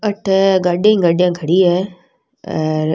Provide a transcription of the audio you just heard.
अठे गाड़िया ही गाड़िया खड़ी है और --